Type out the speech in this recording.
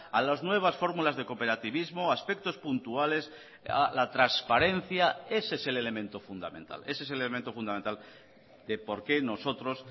a las nuevas fórmulas de cooperativismo a aspectos puntuales a la transparencia ese es el elemento fundamental ese es el elemento fundamental de por qué nosotros